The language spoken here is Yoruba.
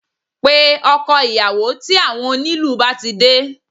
Pe ọkọ ìyàwó tí àwọn onílù bá ti de